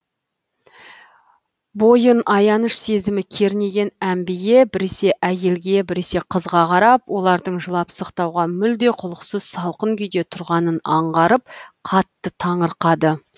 бойын аяныш сезімі кернеген әмбие біресе әйелге біресе қызға қарап олардың жылап сақтауға мүлде құлықсыз салқын күйде тұрғанын аңғарып қатты таңырқады